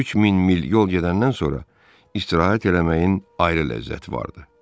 3000 mil yol gedəndən sonra istirahət eləməyin ayrı ləzzəti vardı.